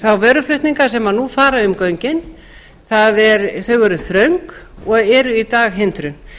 þá vöruflutninga sem nú fara um göngin þau eru þröng og eru í dag hindrun